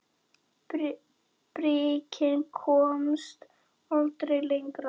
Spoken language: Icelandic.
Bríkin komst aldrei lengra.